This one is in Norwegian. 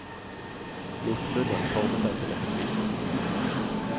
Lot munnen forme seg til et smil.